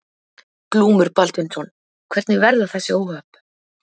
Glúmur Baldvinsson: Hvernig verða þessi óhöpp?